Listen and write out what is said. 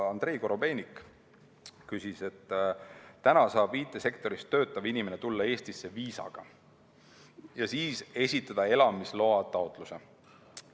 Andrei Korobeinik ütles, et praegu saab IT‑sektoris töötav inimene tulla Eestisse viisaga ja siis esitada elamisloataotluse.